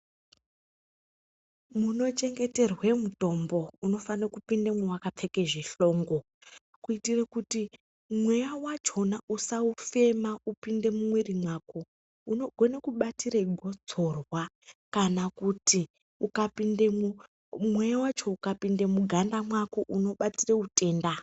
Munochengeterwa mutombo unofana kupindamo wakapfeka zvihlongo kuitira kuti mweya wako wachona usaufema uchioinda mumwiri wako unogona kubatira gotsorwa Kana kuti ukapindamwo mweya wacho ukapinda muganda mako unobatira utenda.